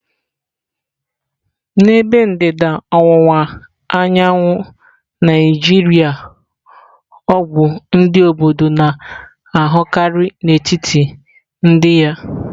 N'ebe ndịda ọwụwa anyanwụ Naijiria ọgwụ ndị obodo na-ahụkarị n'etiti ndị ya.